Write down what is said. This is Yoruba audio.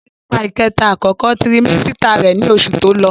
Ó wà nì ipá kẹta àkókò tirimẹ́sítà rẹ̀ ní oṣù tó lọ